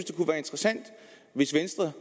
det kunne være interessant hvis venstre